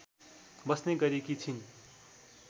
बस्ने गरेकी छिन्।